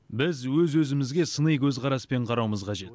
біз өз өзімізге сыни көзқараспен қарауымыз қажет